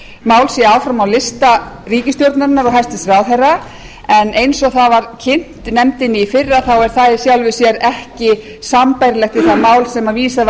mál sé áfram á lista ríkisstjórnarinnar og hæstvirtur ráðherra en eins og það var kynnt nefndinni í fyrra er það í sjálfu sér ekki sambærilegt við það mál sem vísað var